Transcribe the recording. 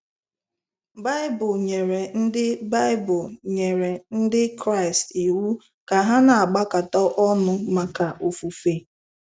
BAỊBỤL nyere Ndị BAỊBỤL nyere Ndị Kraịst iwu ka ha na-agbakọta ọnụ maka ofufe.